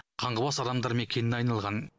қаңғыбас адамдар мекеніне айналған